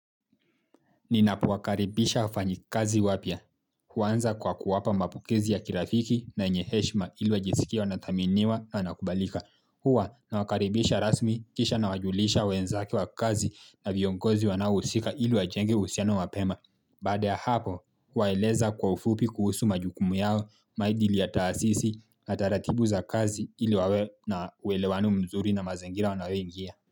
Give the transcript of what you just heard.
Ninapowakaribisha wafanyi kazi wapya. Huanza kwa kuwapa mapokezi ya kirafiki na yenye heshima ili wajisikie wanathaminiwa na wanakubalika. Huwa nawakaribisha rasmi kisha na wajulisha wenzake wa kazi na viongozi wanaohusika ili wajenge uhusiano mapema. Baada ya hapo, huwaeleza kwa ufupi kuhusu majukumu yao, maidili ya taasisi, na taratibu za kazi ilu wawe na uelewano mzuri na mazingira wanayoingia.